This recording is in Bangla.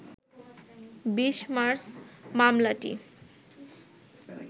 ২০ মার্চ মামলাটি